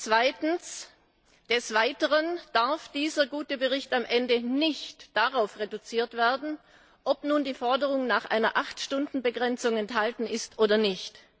Zweitens Dieser gute Bericht darf außerdem am Ende nicht darauf reduziert werden, ob nun die Forderung nach einer Acht Stunden Begrenzung enthalten ist oder nicht.